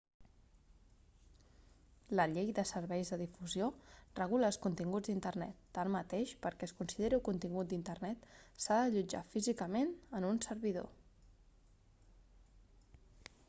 la llei de serveis de difusió regula els continguts d'internet tanmateix perquè es consideri contingut d'internet s'ha d'allotjar físicament en un servidor